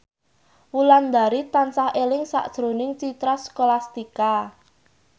Wulandari tansah eling sakjroning Citra Scholastika